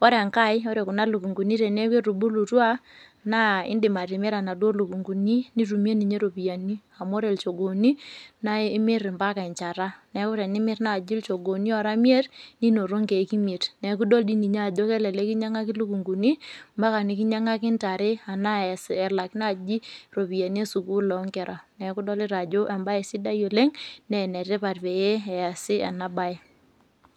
ore enkae ore kuna lukunguni teneaku ketubulutua na indim atimira naduo lukunguni nitumie ropiyani amu ore lchogooni na imir mbaka enchata neaku tenimir lchogooni ora imiet ninoto nkiek imiet neaku idol tiinye ajo kelelek kinyangaki lukunguni mbaka nikinyaki ntare nelak ropiyani esukul onkera neaku idolita ajo embae etipat oleng na enetipat peasi ena bae.